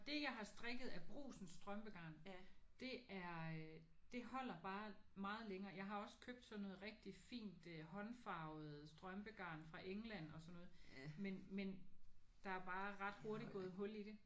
Det jeg har strikket af brugsens strømpegarn det er det holder bare meget længere. Jeg har også købt sådan noget rigtig fint håndfarvet strømpegarn fra England og sådan noget men men der bare ret hurtigt gået hul i det